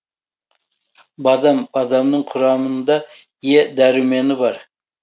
бадам бадамның құрамында е дәрумені бар